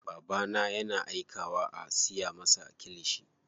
Babana yana aikawa a siya masa kilishi.